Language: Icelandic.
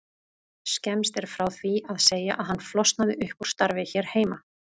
Skemmst er frá því að segja að hann flosnaði upp úr starfi hér heima.